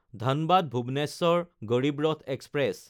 ধনবাদ–ভুৱনেশ্বৰ Garib Rath express